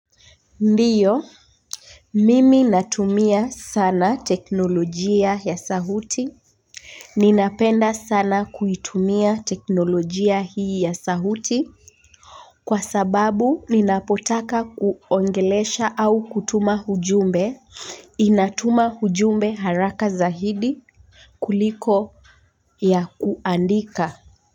Ndiyo, nimi natumia sana teknolojia ya sauti. Ninapenda sana kuitumia teknolojia hii ya sauti kwa sababu ninapotaka kuongelesha au kutuma ujumbe inatuma ujumbe haraka zaidi kuliko ya kuandika.